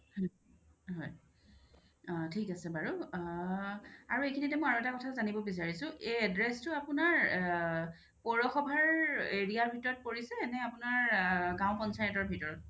হয় থিক আছে বাৰু আ আৰু এইখিনিতে আৰু এটা কথা জানিব বিচাৰিছো এই address টো আপুনাৰ কৌৰো সভাৰ area ৰ ভিতৰত পৰিছে নে আপুনাৰ গাওঁ পঞ্চায়তৰ ভিতৰত ?